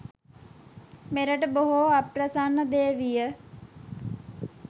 මෙරට බොහෝ අප්‍රසන්න දේ විය